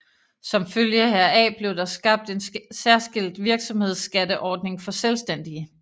Som følge heraf blev der skabt en særskilt virksomhedsskatteordning for selvstændige